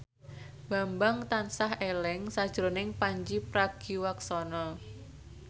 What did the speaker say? Bambang tansah eling sakjroning Pandji Pragiwaksono